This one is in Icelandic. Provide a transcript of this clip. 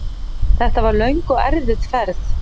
Þetta var löng og erfið ferð.